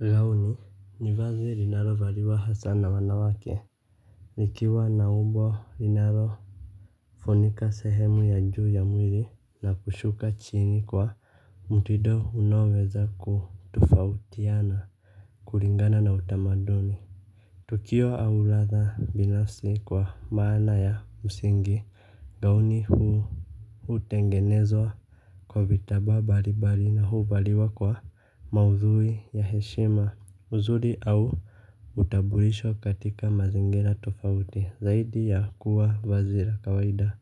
Gauni ni vazi linalo valiwa hasa na wanawake likiwa na umbo linalo funika sehemu ya juu ya mwili na kushuka chini kwa mutido unaoweza kutofautiana. Kulingana na utamaduni tukio au ladha binafsi kwa maana ya msingi gauni hutengenezwa kwa vitambaa mbalimbali na huvaliwa kwa maudhui ya heshima uzuri au utambulisho katika mazingira tofauti zaidi ya kuwa vazi la kawaida.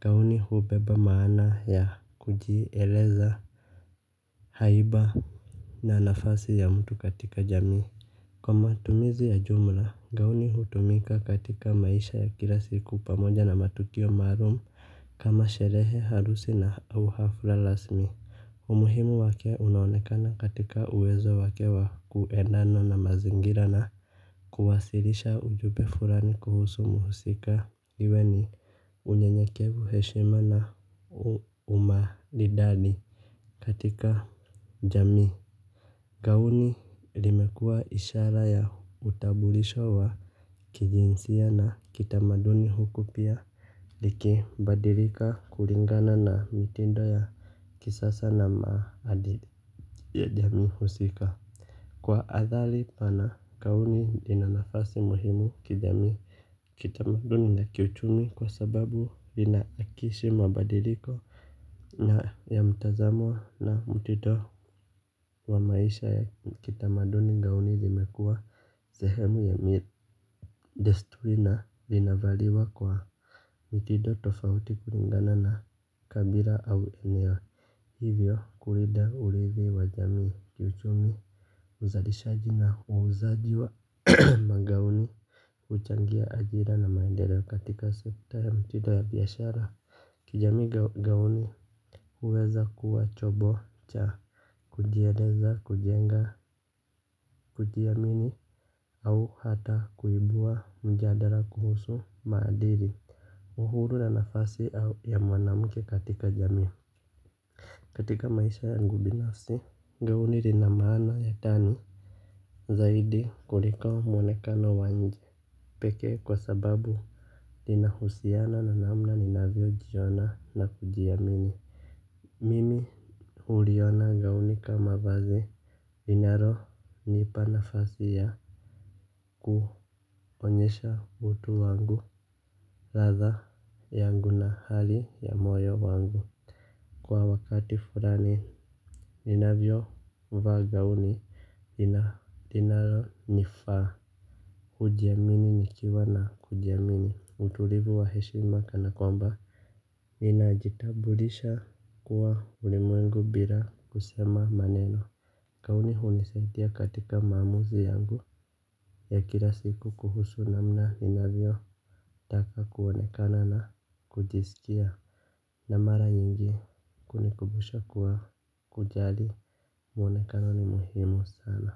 Gauni hubeba maana ya kujieleza haiba na nafasi ya mtu katika jamii. Kwa matumizi ya jumla gauni hutumika katika maisha ya kila siku pamoja na matukio maalum kama sherehe harusi na uhafla rasmi. Umuhimu wake unaonekana katika uwezo wake wa kuedana na mazingira na kuwasilisha ujumbe fulani kuhusu muhusika. Iwe ni unyenyekevu heshima na umaridadi katika jami. Gauni limekua ishara ya utambulisho wa kijinsia na kitamaduni huku pia likibadilika kulingana na mitindo ya kisasa na maadili ya jamii husika. Kwa athari pana gauni lina nafasi muhimu kijamii kitamaduni na kiuchumi kwa sababu lina hakikisha mabadiliko na ya mtazamo na mtindo wa maisha ya kitamaduni gauni limekua sehemu ya desturi na linavaliwa kwa mitindo tofauti kulingana na kabila au eneo hivyo kulinda urithi wa jamii kiuchumi uzalishaji na uuzaji wa magauni uchangia ajira na maendedo katika sekta ya mtindo ya biashara kijamii gauni huweza kuwa chombo cha kujieleza kujenga kujiamini au hata kuibua mjadala kuhusu maadili uhuru na nafasi au ya mwanamke katika jamii katika maisha yagu binafsi. Gauni lina maana ya ndani zaidi kuliko mwonekano wa nje pekee kwa sababu linahusiana na namna ninavyojiona na kujiamini. Iinalo nipa nafasi ya kuonyesha utu wangu ladha yangu na hali ya moyo wangu. Kwa wakati fulani ninavyo vas gauni iina linalonifaa. Ujiamini nikiwa na kujiamini. Utulivu wa heshima kana kwamba ninajitambulisha kwa ulimwengu bila kusema maneno gauni hunisaidia katika maamuzi yangu ya kila siku kuhusu namna ninavyo taka kuonekana na kujisikia. Na mara nyingi kunikumbusha kuwa kujali mwonekano ni muhimu sana.